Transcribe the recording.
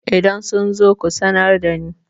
idan sun zo ku sanar da ni?